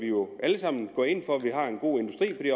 jo alle sammen ind for at vi har en god industri